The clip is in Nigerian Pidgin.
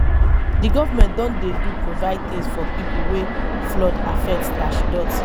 di government don dey do provide tins for pipo wey flood affect.